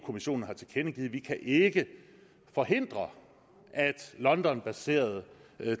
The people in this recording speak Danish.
kommissionen har tilkendegivet at vi ikke kan forhindre at londonbaserede